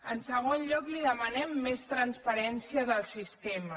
en segon lloc li demanem més transparència del sistema